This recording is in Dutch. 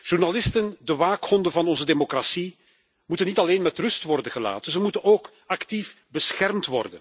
Journalisten, de waakhonden van onze democratie, moeten niet alleen met rust worden gelaten, ze moeten ook actief worden beschermd.